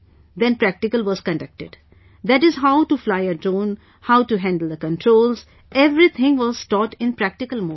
Then practical was conducted, that is, how to fly the drone, how to handle the controls, everything was taught in practical mode